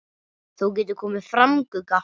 Þú getur komið fram, Gugga!